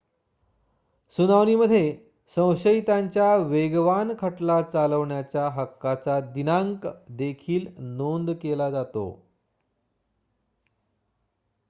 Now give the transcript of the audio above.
सुनावणीमध्ये संशयितांच्या वेगवान खटला चालवण्याच्या हक्काचा दिनांक देखील नोंद केला जातो